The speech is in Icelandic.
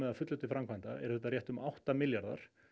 að fullu til framkvæmda eru þetta um átta milljarðar